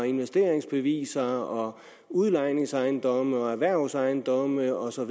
investeringsbeviser udlejningsejendomme og erhvervsejendomme og så